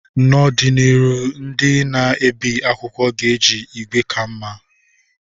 N'ọdịnihu, ndị na-ebi akwụkwọ ga-eji igwe ka mma.